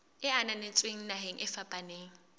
e ananetsweng naheng e fapaneng